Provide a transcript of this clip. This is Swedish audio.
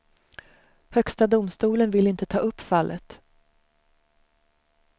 Högsta domstolen vill inte ta upp fallet.